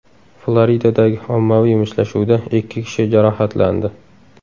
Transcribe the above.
Floridadagi ommaviy mushtlashuvda ikki kishi jarohatlandi.